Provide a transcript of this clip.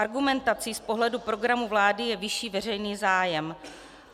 Argumentací z pohledu programu vlády je vyšší veřejný zájem.